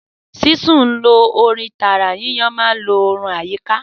Sísun ń lo ooru tààrà; yíyan máa ń lo ooru àyíká.